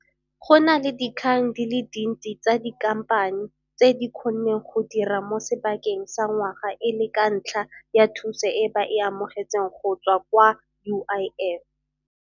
Go na le dikgang di le dintsi tsa dikhamphani tse di kgonneng go dira mo sebakeng sa ngwaga e le ka ntlha ya thuso e ba e amogetseng go tswa kwa UIF.